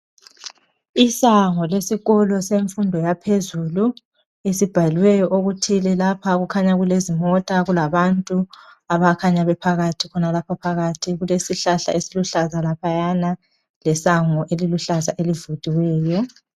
Isango lesikolo semfundo yaphezulu esibhaliweyo okuthile lapha kukhanya kulezimota kulabantu abakhanya bephakathi khonalapha phakathi kulesihlahla khonaphayana lesango eliluhlaza elivuliweyo.